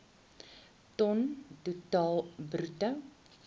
ton totaal bruto